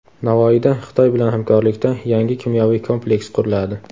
Navoiyda Xitoy bilan hamkorlikda yangi kimyoviy kompleks quriladi.